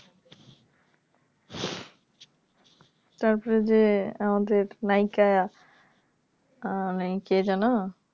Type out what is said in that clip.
তারপরে যে আমাদের নায়িকা উম কে যেন